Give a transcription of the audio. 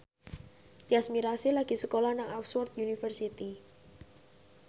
Tyas Mirasih lagi sekolah nang Oxford university